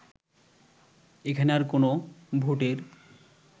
এখানে আর কোন ভোটের